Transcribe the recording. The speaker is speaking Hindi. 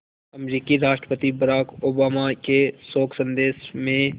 अमरीकी राष्ट्रपति बराक ओबामा के शोक संदेश में